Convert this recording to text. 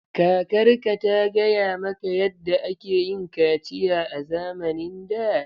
Kakarka ta gaya maka yadda ake yin kaciya a zamanin da?